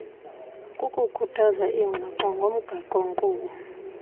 kukukhuthaza iingxoxo ngomgaqonkqubo